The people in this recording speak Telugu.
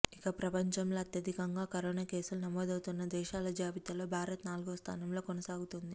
ఇక ప్రపంచంలో అత్యధికంగా కరోనా కేసులు నమోదౌతున్న దేశాల జాబితాలో భారత్ నాలుగో స్థానంలో కొనసాగుతోంది